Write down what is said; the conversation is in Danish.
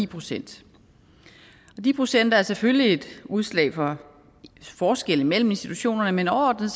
procent de procenter er selvfølgelig et udtryk for forskelle mellem institutionerne men overordnet